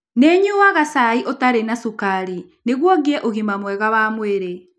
Nĩ nyuaga cai ũtarĩ na cukari nĩguo ngĩe na ũgima mwega wa mwĩrĩ.